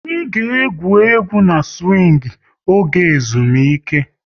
Anyị ga egwú egwu na-siwing oge ezumike